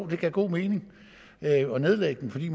det god mening at nedlægge dem fordi